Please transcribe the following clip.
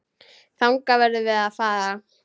Þangað verðum við að fara.